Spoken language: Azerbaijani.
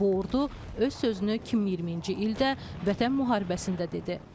Bu ordu öz sözünü 2020-ci ildə Vətən müharibəsində dedi.